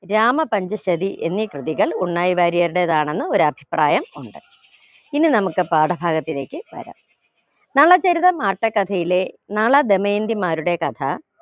രാമ പഞ്ചശരി എന്നീ കൃതികൾ ഉണ്ണായി വാര്യരുടേതാണെന്ന് ഒരഭിപ്രായം ഉണ്ട് ഇനി നമുക്ക് പാഠഭാഗത്തിലേക്ക് വരം നളചരിതം ആട്ടക്കഥയിലെ നള ധമന്തിമാരുടെ കഥ